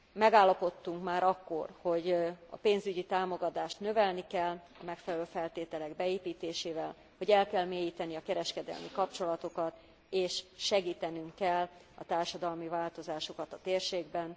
Megállapodtunk már akkor, hogy a pénzügyi támogatást növelni kell a megfelelő feltételek beépítésével, hogy el kell mélyíteni a kereskedelmi kapcsolatokat és segítenünk kell a társadalmi változásokat a térségben.